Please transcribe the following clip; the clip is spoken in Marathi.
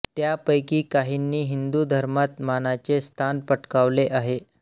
त्यापैकी काहींनी हिंदू धर्मात मानाचे स्थान पटकावले आहे